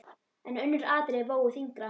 En önnur atriði vógu þyngra.